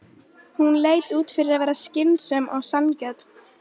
Hún leit út fyrir að vera skynsöm og sanngjörn.